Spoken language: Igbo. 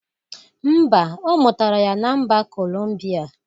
Mba ọ mụtara ya na mba Columbia